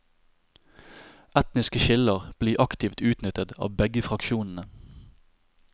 Etniske skiller blir aktivt utnyttet av begge fraksjonene.